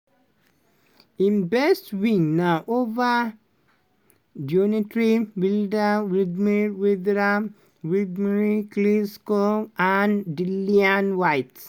im best wins na ova deontay wilder wladimir wilder wladimir klitschko and dillian whyte.